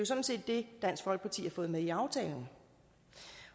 sådan set det dansk folkeparti har fået med i aftalen